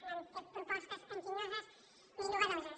no hem fet propostes enginyoses ni noves